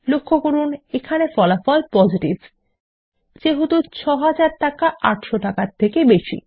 লক্ষ্য করুন এখানে ফলাফল পজিটিভ যেহেতু ৬০০০ টাকা ৮০০ টাকার থেকে বেশী